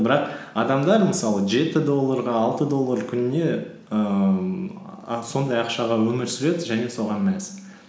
бірақ адамдар мысалы жеті долларға алты доллар күніне ііі сондай ақшаға өмір сүреді және соған мәз